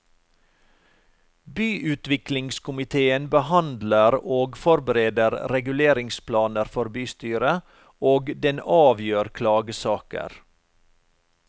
Byutviklingskomitéen behandler og forbereder reguleringsplaner for bystyret, og den avgjør klagesaker.